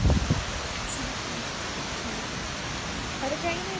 अच्छा! अरे काही नाही